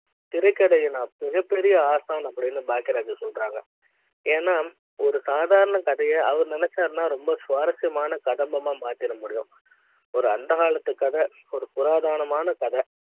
திரைக்கதை எனக்கு மிகப்பெரிய ஆஸ்தான அப்படி ன்னு பாக்குற சொல்றாங்க ஏன்னா ஒரு சாதாரண கதையை அவர் நினைச்சிருந்தா ரொம்ப சுவாரஸ்ய மான கதம்ப மாத்திர முடியும் ஒரு அந்த காலத்து கதை ஒரு புராதன மான கதை